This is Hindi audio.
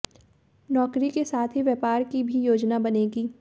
नौकरी के साथ ही व्यापार की भी योजना बनेगी